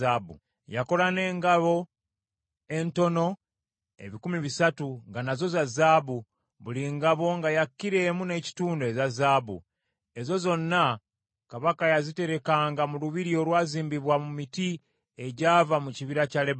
Yakola n’engabo entono ebikumi bisatu, nga nazo za zaabu, buli ngabo nga ya kilo emu n’ekitundu eza zaabu. Ezo zonna kabaka yaziterekanga mu lubiri olwazimbibwa mu miti egyava mu kibira kya Lebanooni.